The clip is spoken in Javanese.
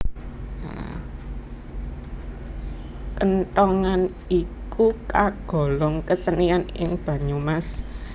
Kenthongan iku kagolong kesenian ing Banyumas